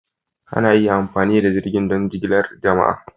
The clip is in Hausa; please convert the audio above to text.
Ana iya amfani da jirgin don jigilar jama'a.